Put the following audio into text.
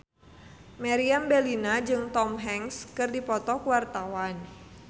Meriam Bellina jeung Tom Hanks keur dipoto ku wartawan